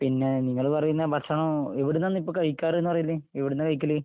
പിന്നെ നിങ്ങൾ പറയുന്ന ഭക്ഷണം... എവിടന്നാണ് ഇപ്പൊ കഴിക്കാറെന്ന് പറയല്? എവിടന്നാ കഴിക്കല്?